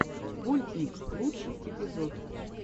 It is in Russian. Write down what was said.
вольтник лучший эпизод